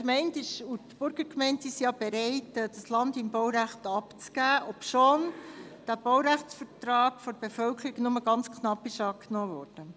Gemeinde und Burgergemeinde sind bereit, das Land im Baurecht abzugeben, obwohl der Baurechtsvertrag von der Bevölkerung nur ganz knapp angenommen wurde.